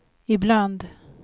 ibland